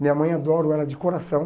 Minha mãe adoro ela de coração.